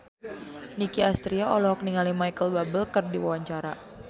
Nicky Astria olohok ningali Micheal Bubble keur diwawancara